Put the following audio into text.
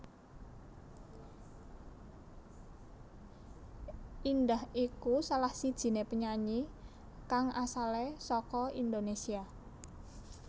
Indah iku salahsijiné penyanyi kang asale saka Indonesia